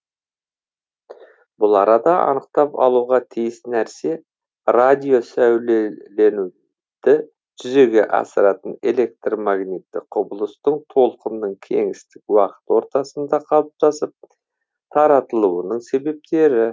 бұл арада анықтап алуға тиіс нәрсе радио сәулеленуді жүзеге асыратын электр магниттік құбылыстың толқынның кеңістік уақыт ортасында қалыптасып таратылуының себептері